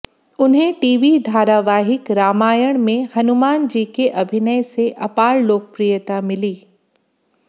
उन्हें टीवी धारावाहिक रामायण में हनुमानजी के अभिनय से अपार लोकप्रियता मिली